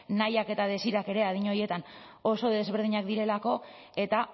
nahiak eta desirak ere adin horietan oso desberdinak direlako eta